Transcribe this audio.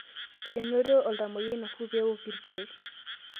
Onetee oltumwoyia nafuu pee ewok ilkeek.